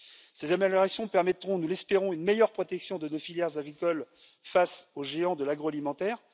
Ces améliorations permettront, nous l'espérons, une meilleure protection de nos filières agricoles face aux géants de l'agroalimentaire.